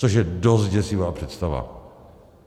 Což je dost děsivá představa.